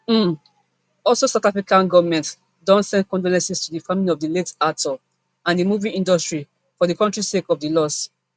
um also south african govment don send condolences to di family of di late actor and di movie industry for di kontri sake of di loss